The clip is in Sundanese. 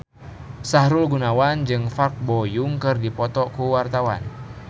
Sahrul Gunawan jeung Park Bo Yung keur dipoto ku wartawan